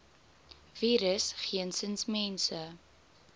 virus geensins mense